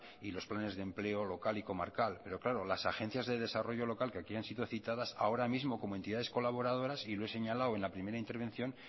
y los planes de empleo local y comarcal pero claro las agencias de desarrollo local que aquí han sido citadas ahora mismo como entidades colaboradoras y lo he señalado en la primera intervención